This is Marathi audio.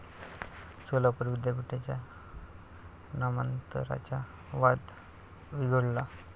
सोलापूर विद्यापीठाच्या नामांतराचा वाद चिघळला